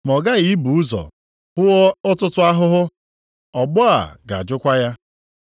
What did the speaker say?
Ma ọ ghaghị ibu ụzọ hụọ ọtụtụ ahụhụ, ọgbọ a ga-ajụkwa ya.